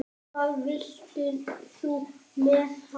Hvað vilt þú með hann?